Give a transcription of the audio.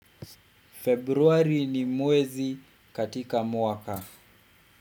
Februari ni mwezi katika mwaka.